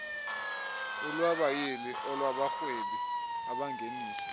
olwabayili olwabarhwebi abangenisa